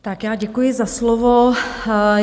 Tak já děkuji za slovo.